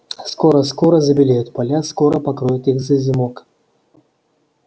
скоро-скоро забелеют поля скоро покроет их зазимок